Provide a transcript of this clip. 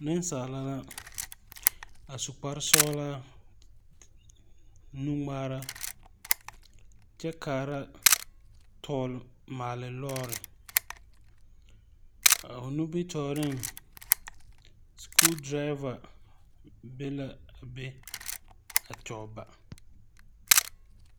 Neŋsaala la a su kparesɔglaa nungmaara kyɛ kaara tɔgle maale lɔɔre a o nimitooreŋ skuu draava be la be a kyɔg ba.